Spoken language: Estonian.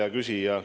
Hea küsija!